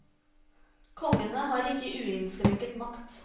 Kongene har ikke uinnskrenket makt.